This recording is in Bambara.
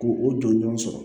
Ko o jɔnjɔn sɔrɔ